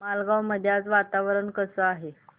मालवण मध्ये आज वातावरण कसे आहे